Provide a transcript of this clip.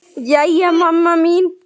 Jæja, mamma mín.